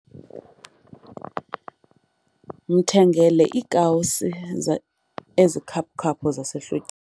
Mthengele iikawusi ezikhaphu-khaphu zasehlo